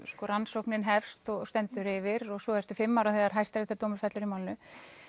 rannsóknin hefst og stendur yfir svo ertu fimm ára þegar fellur í málinu